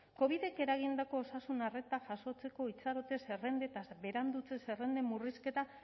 covidek eragindako osasun arreta jasotzeko itxarote zerrendetaz berandutze zerrenden murrizketa